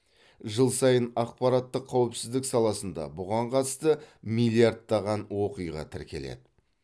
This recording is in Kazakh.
жыл сайын ақпараттық қауіпсіздік саласында бұған қатысты миллиардтаған оқиға тіркеледі